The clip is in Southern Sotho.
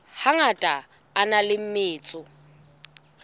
hangata a na le metso